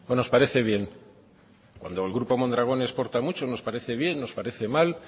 nos parece bien cuando el grupo mondragón exporta mucho nos parece bien nos parece mal